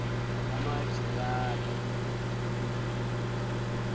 yamajerari